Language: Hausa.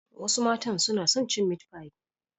Wasu matan suna son cin meat pie.